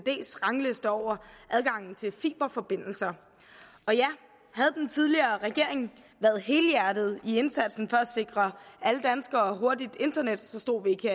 rangliste over adgangen til fiberforbindelser og ja havde den tidligere regering været helhjertet i indsatsen for at sikre alle danskere hurtigt internet stod vi ikke